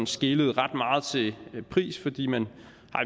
skelet ret meget til pris fordi man